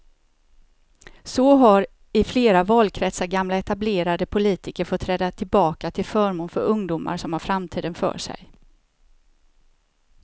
Så har i flera valkretsar gamla etablerade politiker fått träda tillbaka till förmån för ungdomar som har framtiden för sig.